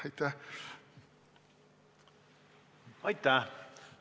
Aitäh!